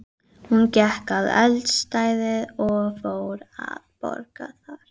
Hún gekk að eldstæðinu og fór að bogra þar.